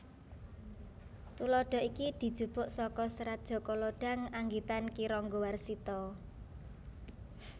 Tuladha iki dijupuk saka Serat Jaka Lodhang anggitan Ki Ranggawarsita